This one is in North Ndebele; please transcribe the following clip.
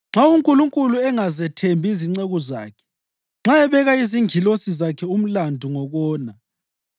Nxa uNkulunkulu engazethembi izinceku zakhe, nxa ebeka izingilosi zakhe umlandu ngokona,